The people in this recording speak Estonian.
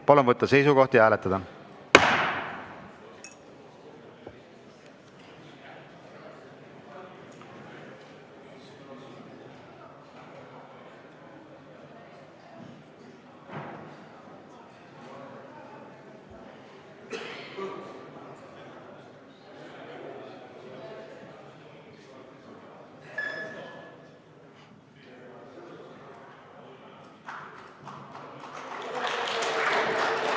Palun võtta seisukoht ja hääletada!